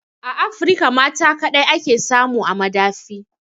A Afirka mata kaɗai ake samu a madafi